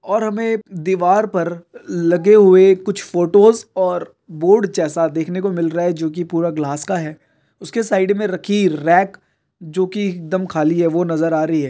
और हमें दिवार पर लगे हुए कुछ फोटोज और बोर्ड जैसा देखने को मिल रहा है जोकि पूरा ग्लास का है। उसके साइड मैं रखी रैक जोकि एकदम खली हैं जो की नजर आ रही हैं।